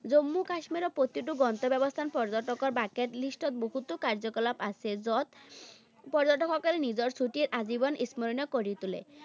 জম্মু কাশ্মীৰৰ প্ৰতিটো গন্তব্যস্থান, পৰ্য্যটকৰ bucket list ত বহুতো কাৰ্যকলাপ আছে, য'ত পৰ্য্যটকসকলে নিজৰ ছুটিৰ আজীৱন স্মৰণীয় কৰি তোলে।